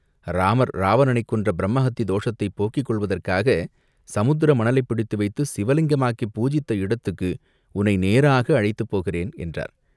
இராமர் இராவணனைக் கொன்ற பிரம்மஹத்தி தோஷத்தைப் போக்கிக் கொள்வதற்காகச் சமுத்திர மணலைப் பிடித்து வைத்துச் சிவலிங்கமாக்கிப் பூஜித்த இடத்துக்கு உன்னை நேராக அழைத்துப் போகிறேன்" என்றார்.